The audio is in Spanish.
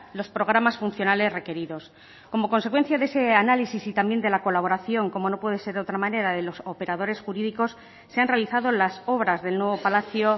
los programas funcionales requeridos como consecuencia de ese análisis y también de la colaboración como no puede ser de otra manera de los operadores jurídicos se han realizado las obras del nuevo palacio